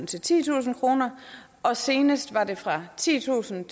til titusind kroner og senest var det fra titusind